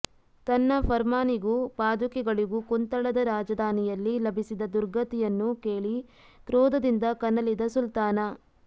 ತನ್ನ ಫರ್ಮಾನಿಗೂ ಪಾದುಕೆಗಳಿಗೂ ಕುಂತಳದ ರಾಜಧಾನಿಯಲ್ಲಿ ಲಭಿಸಿದ ದುರ್ಗತಿಯನ್ನು ಕೇಳಿ ಕ್ರೋಧದಿಂದ ಕನಲಿದ ಸುಲ್ತಾನ